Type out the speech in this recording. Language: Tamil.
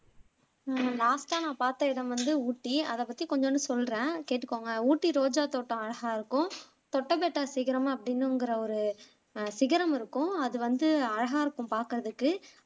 அஹ் லாஸ்ட்டா நான் பாத்த இடம் வந்து ஊட்டி அதை பத்தி கொஞ்சொண்டு சொல்றேன் கேட்டுக்கோங்க ஊட்டி ரோஜா தோட்டம் அழகா இருக்கும் தொட்டபெட்டா சிகரம் அப்படின்னுங்குற ஒரு அஹ் சிகரம் இருக்கும் அது வந்து அழகா இருக்கும் பாக்குறதுக்கு